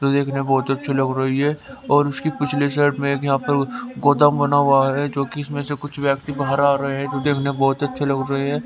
जो देखने बहोत अच्छी लग रही है और उसकी पिछले साइड में एक यहां पर गोदाम बना हुआ है जो कि इसमें से कुछ व्यक्ति बाहर आ रहे हैं जो देखने में बहुत अच्छे लग रहे हैं।